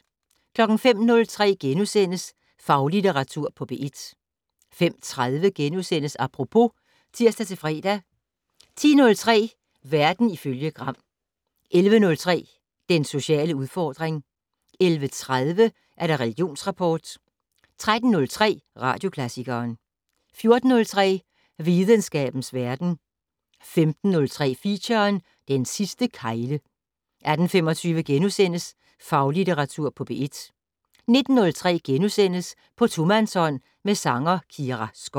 05:03: Faglitteratur på P1 * 05:30: Apropos *(tir-fre) 10:03: Verden ifølge Gram 11:03: Den sociale udfordring 11:30: Religionsrapport 13:03: Radioklassikeren 14:03: Videnskabens verden 15:03: Feature: Den sidste kegle 18:25: Faglitteratur på P1 * 19:03: På tomandshånd med sanger Kira Skov *